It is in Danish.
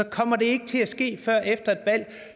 kommer det ikke til at ske før et valg